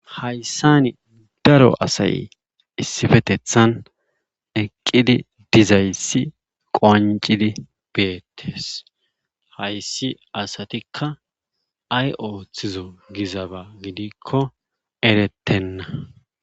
Hayssani daro asay issifetethan eqqid dizayssi qonccidi beetees hayssi asatikka ay oothizo gizab gidikko erettenna.